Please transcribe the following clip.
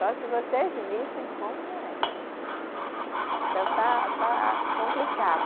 Só se vocês vissem como é. Então está, está complicado.